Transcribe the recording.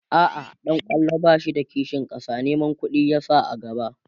a'a ɗan kwallon bashi da kishin ƙasa Neman ƙuɗi ya Saka a gaba